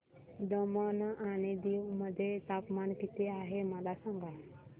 दमण आणि दीव मध्ये तापमान किती आहे मला सांगा